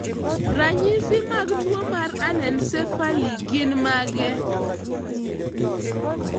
Ranyisi mag tuwo mar anencephaly gin mage?